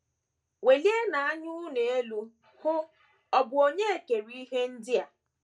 Welienụ anya unu elu, hụ: ọ̀ bụ Onye kere ihe ndị a?